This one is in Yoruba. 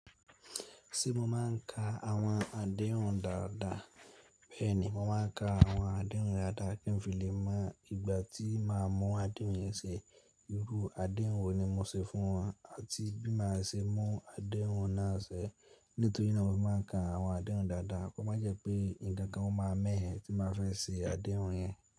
Ṣé mo máa ń ka àwọn àdéhùn dáadáa? Bẹ́ẹ̀ni, mo máa ń ka àwọn àdéhùn dáadáa kí n fi lè mọ ìgbà tí màá mú àdéhùn yẹn ṣẹ. Irú àdéhùn wo ni mo ṣe fún wọn àti bí màá ṣe mú àdéhùn náà ṣẹ. Nítorí náà mo máa ń ka àwọn àdéhùn dáadáa kó má jẹ́ pé ǹkan kan ó máa mẹ ẹ́ tí bà fẹ́ ṣe àdéhùn yẹn.